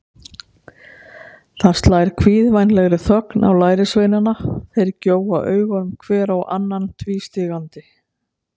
Það slær kvíðvænlegri þögn á lærisveinana, þeir gjóa augunum hver á annan tvístígandi.